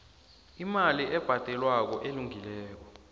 imali ebhadelwako elungileko